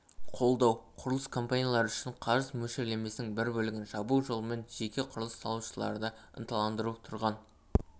қолдау құрылыс компаниялары үшін қарыз мөлшерлемесінің бір бөлігін жабу жолымен жеке құрылыс салушыларды ынталандыру тұрғын